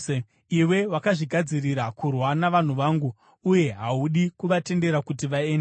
Iwe wakazvigadzirira kurwa navanhu vangu uye haudi kuvatendera kuti vaende.